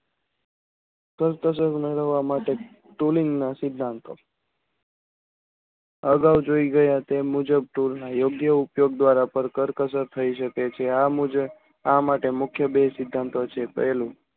કરકસર મેળવવા માટે tooling ના સિદ્ધાંતો અગાઉ જોઈ ગયા તેમ મુજબ tool ના યોગ્ય ઉપયોગ દ્વારા પર કરકસર થઈ શકે છે. આ મુજબ આ માટે મુખ્ય બે સિદ્ધાંતો છે. પહેલું